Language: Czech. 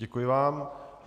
Děkuji vám.